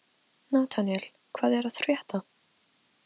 Nataníel, hvað er að frétta?